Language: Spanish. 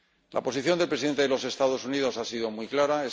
La posición del presidente de los Estados Unidos ha sido muy clara.